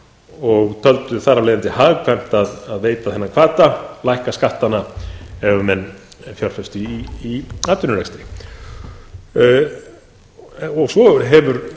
og töldu þar af leiðandi hagkvæmt að veita þennan hvata að lækka skattana ef menn fjárfestu í atvinnurekstri svo hefur